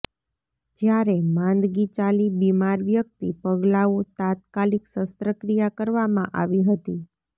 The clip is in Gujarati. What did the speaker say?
જ્યારે માંદગી ચાલી બીમાર વ્યક્તિ પગલાંઓ તાત્કાલિક શસ્ત્રક્રિયા કરવામાં આવી હતી